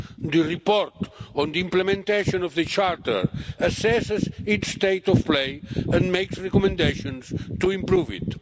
The report on the implementation of the Charter assesses its state of play and makes recommendations to improve it.